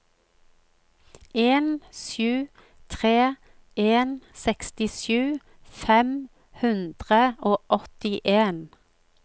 en sju tre en sekstisju fem hundre og åttien